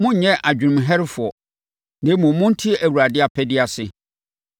Monnyɛ adwenem herɛfoɔ, na mmom monte Awurade apɛdeɛ ase.